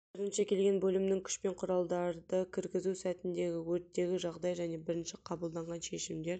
бірінші келген бөлімнің күш пен құралдарды кіргізу сәтіндегі өрттегі жағдай және бірінші қабылданған шешімдер